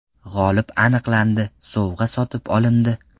G‘olib aniqlandi, sovg‘a sotib olindi.